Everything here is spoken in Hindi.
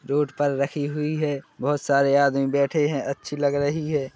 रोड पर रखी हैं बहुत सारे बैठे हैं अच्छी लग रही है।